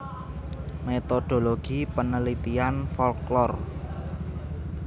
Metodologi Penelitian Folklor